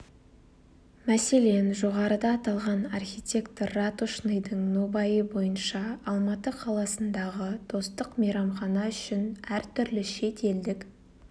мәселен жоғарыда аталған архитектор ратушныйдың нобайы бойынша алматы қаласындағы достық мейрамхана үшін әртүрлі шет елдік